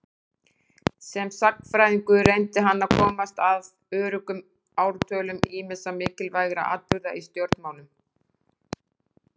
Sem sagnfræðingur reyndi hann að komast að öruggum ártölum ýmissa mikilvægra atburða í stjórnmálum.